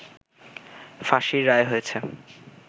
ফাঁসির রায় হয়েছে